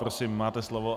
Prosím, máte slovo.